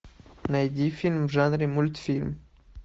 найди фильм в жанре мультфильм